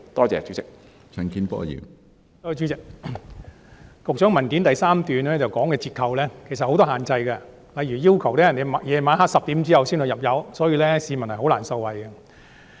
主席，局長在主體答覆第3部分提及的折扣其實設有很多限制，例如要求司機在晚上10時後入油才可享有優惠，所以他們是難以受惠的。